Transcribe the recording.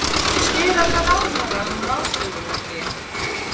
Spyr alla ráðherra um ráðstöfunarfé